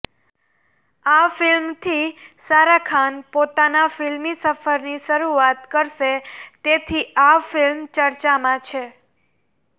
આ ફિલ્મથી સારા ખાન પોતાના ફિલ્મી સફરની શરૂઆત કરશે તેથી આ ફિલ્મ ચર્ચામાં છે